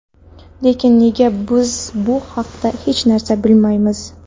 Lekin nega biz bu haqda hech narsa bilmaymiz?